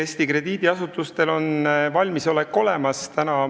Eesti krediidiasutustel on valmisolek olemas.